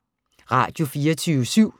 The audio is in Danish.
Radio24syv